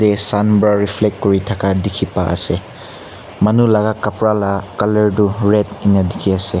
sun para reflect kori thaka dekhi pai ase manu laga kapara laga colour tu red eninka dekhi ase.